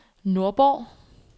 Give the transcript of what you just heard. Nordborg